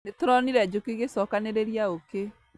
Nĩtũronire njũkĩ igĩcokanĩrĩria ũkĩ